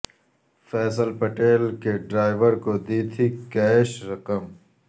فیصل پٹیل کے ڈرائیور کو دی تھی کیش رقم